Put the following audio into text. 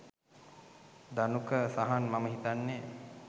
ධනුක සහන් මම හිතන්නේ